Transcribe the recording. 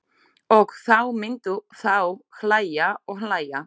Og þá myndu þau hlæja og hlæja.